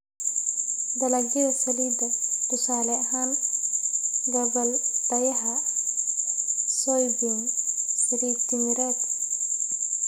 Dalagyada saliidda: tusaale ahaan, gabbaldayaha, soybean, saliid timireed.